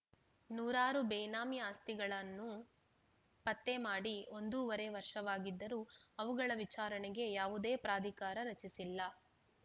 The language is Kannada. ನೂರಾರು ಬೇನಾಮಿ ಆಸ್ತಿಗಳನ್ನು ಪತ್ತೆ ಮಾಡಿ ಒಂದೂವರೆ ವರ್ಷವಾಗಿದ್ದರೂ ಅವುಗಳ ವಿಚಾರಣೆಗೆ ಯಾವುದೇ ಪ್ರಾಧಿಕಾರ ರಚಿಸಿಲ್ಲ